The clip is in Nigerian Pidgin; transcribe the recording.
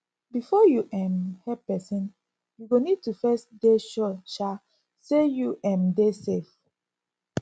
before you um help persin you go need to first dey sure um sey you um dey safe